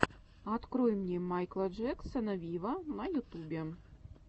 открой мне майкла джексона виво на ютубе